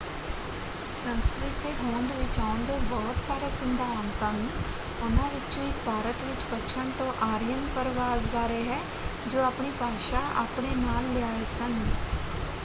ਸੰਸਕ੍ਰਿਤ ਦੇ ਹੋਂਦ ਵਿੱਚ ਆਉਣ ਦੇ ਬਹੁਤ ਸਾਰੇ ਸਿਧਾਂਤ ਹਨ। ਉਨ੍ਹਾਂ ਵਿਚੋਂ ਇੱਕ ਭਾਰਤ ਵਿੱਚ ਪੱਛਣ ਤੋਂ ਆਰੀਅਨ ਪਰਵਾਸ ਬਾਰੇ ਹੈ ਜੋ ਆਪਣੀ ਭਾਸ਼ਾ ਆਪਣੇ ਨਾਲ ਲਿਆਏ ਸਨ।